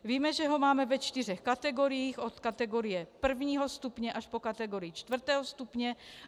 Víme, že ho máme ve čtyřech kategoriích - od kategorie prvního stupně až po kategorii čtvrtého stupně.